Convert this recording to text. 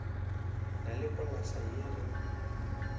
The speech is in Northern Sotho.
na le polasa ye re